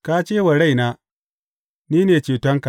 Ka ce wa raina, Ni ne cetonka.